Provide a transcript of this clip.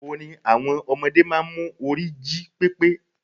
Orin àwọn ọmọdé máa n mu orí jí pépé